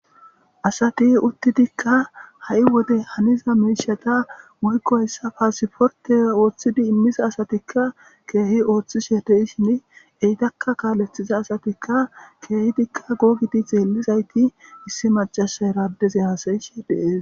asati uttidikka ha7i wode haniza meishata wuykkoyssa paasiforte ooththidi immisa asatikka keehi ooththishe dei shin eytakka kaalethiza asatikka keehidikka googidi xeellizayti issi macasa eradeze haasayishe deees